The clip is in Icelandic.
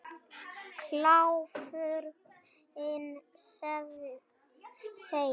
Kláfurinn sveif í margra metra hæð og það var ekkert sem hann gat gert.